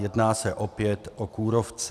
Jedná se opět o kůrovce.